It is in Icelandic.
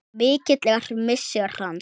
Mikill er missir hans.